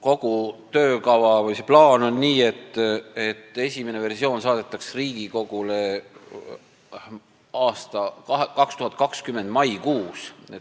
Kogu selle töökavaga on nii, et esimene versioon on plaanis Riigikogule saata 2020. aasta maikuus.